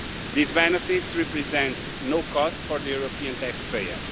These benefits represent no cost for the European tax payer